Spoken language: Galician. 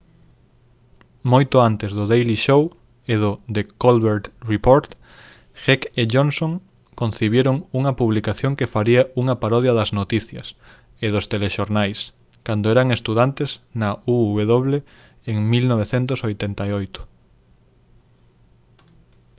moito antes do daily show e do the colbert report heck e johnson concibiron unha publicación que faría unha parodia das noticias e dos telexornais cando eran estudantes na uw en 1988